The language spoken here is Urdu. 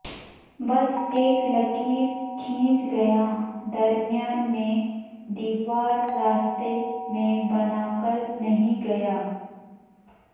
بس اک لکیر کھینچ گیا درمیان میںدیوار راستے میں بنا کر نہیں گیا